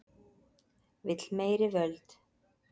Vill meiri völd